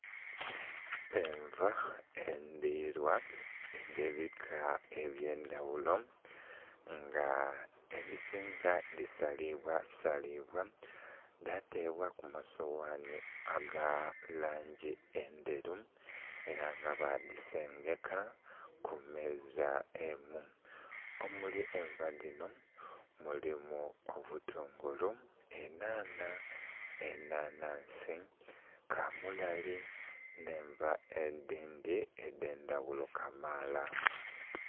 Enva edhirwa edhebika ebyendaghulo nga edhisinga dhisalibwasalibwa dhatebwaku musowani agalangi endheru era nga badhisengeka kumeeza emu. Omuli enva dhino mulimu obutungulu, enhanha, enhanhansi, kamulali n'enva edhindhi edhendhaghulo kamala.